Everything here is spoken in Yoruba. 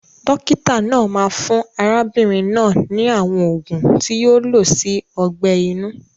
Dókítà náà máa fún arábínrin náà ni àwon ògùn ti yio lo si ogbẹ̀ inú